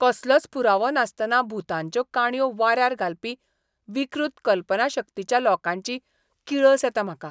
कसलोच पुरावो नासतना भुतांच्यो काणयो वाऱ्यार घालपी विकृत कल्पनाशक्तीच्या लोकांची किळस येता म्हाका.